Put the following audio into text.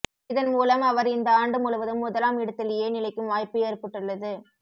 இதன் மூலம் அவர் இந்த ஆண்டு முழுவதும் முதலாம் இடத்திலேயே நிலைக்கும் வாய்ப்பு ஏற்பட்டுள்ளது